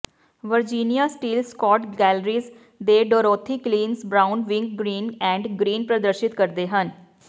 Virginia Steele Scott Galleries ਦੇ Dorothy Clines Brown Wing Green and Green ਪ੍ਰਦਰਸ਼ਿਤ ਕਰਦੇ ਹਨ